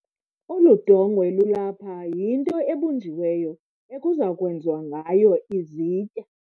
Olu dongwe lulapha yinto ebunjiweyo ekuza kwenziwa ngayo izitya.